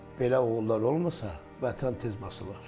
Belə oğullar olmasa, Vətən tez basılar.